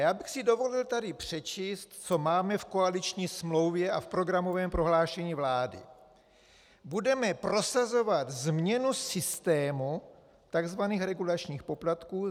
Já bych si dovolil tady přečíst, co máme v koaliční smlouvě a v programovém prohlášení vlády: Budeme prosazovat změnu systému tzv. regulačních poplatků.